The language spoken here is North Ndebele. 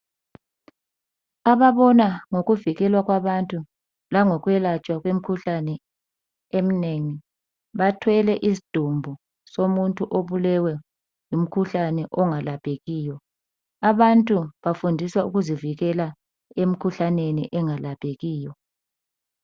ababona ngokuvikelwa kwabantu langokwelatshwa komkhuhlane eminengi bathwele isidumbu somuntu obulewe ngumkhuhlane ongalaphekiyo abantu bafundiswa ukuzivikela emkhuhlaneni engalaphekiyo